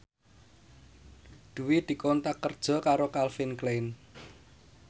Dwi dikontrak kerja karo Calvin Klein